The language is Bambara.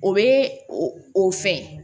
O bɛ o fɛn